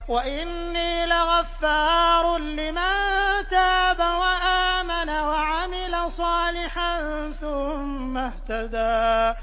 وَإِنِّي لَغَفَّارٌ لِّمَن تَابَ وَآمَنَ وَعَمِلَ صَالِحًا ثُمَّ اهْتَدَىٰ